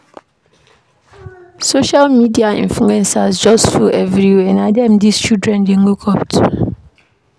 Social media influencers just full everywhere, na dem dese children dey look-up to.